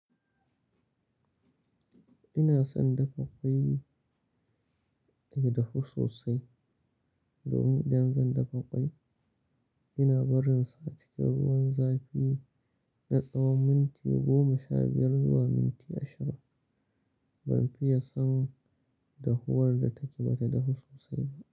Ina son dafa ƙwai, ya dahu sosai. Domin idan zan dafa ƙwai, ina barinsa cikin ruwan zafi na tsawon minti goma sha biyar zuwa minti ashirin. Ban fiye son dahowar da take mata dahu sosai ba.